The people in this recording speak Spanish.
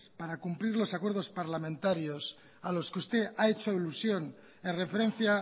para cumplir los acuerdos parlamentarios a los que usted ha hecho alusión en referencia